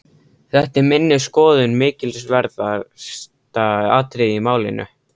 Þetta er að minni skoðun mikilsverðasta atriðið í málinu.